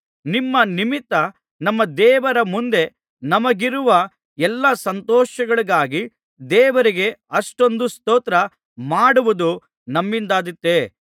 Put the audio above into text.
ನಿಮ್ಮ ನಿಮಿತ್ತ ನಮ್ಮ ದೇವರ ಮುಂದೆ ನಮಗಿರುವ ಎಲ್ಲಾ ಸಂತೋಷಗಳಿಗಾಗಿ ದೇವರಿಗೆ ಅಷ್ಟೊಂದು ಸ್ತೋತ್ರ ಮಾಡುವುದು ನಮ್ಮಿಂದಾದಿತೇ